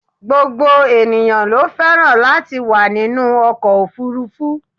gbogbo ènìyàn ló fẹ́ràn latí wà ninú ọkọ̀ òfurufú